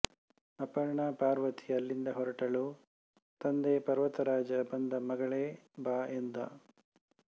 ಅಪರ್ಣ ಪಾರ್ವತಿ ಅಲ್ಲಿಂದ ಹೊರಟಳು ತಂದೆ ಪರ್ವತ ರಾಜ ಬಂದ ಮಗಳೆ ಬಾ ಎಂದು